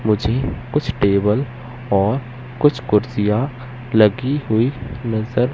मुझे कुछ टेबल और कुछ कुर्सियां लगी हुई नजर--